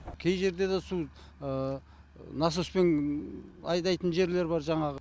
кей жерде де су насоспен айдайтын жерлер бар жаңағы